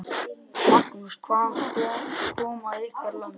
Magnús: Hvaðan koma ykkar lömb?